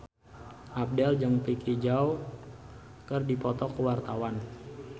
Abdel jeung Vicki Zao keur dipoto ku wartawan